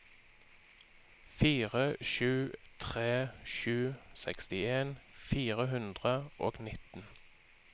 fire sju tre sju sekstien fire hundre og nitten